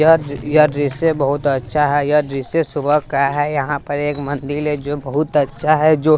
यह यह डृश्य बहुत अच्छा है यह डृश्य सुबह का है यहां पर एक मन्दिल है जो बहुत अच्छा है जो --